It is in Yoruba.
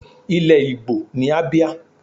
Ilẹ̀ Igbo ni Abia.